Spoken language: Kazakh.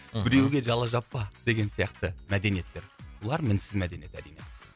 мхм біреуге жала жаппа деген сияқты мәдениеттер бұлар мінсіз мәдениет әрине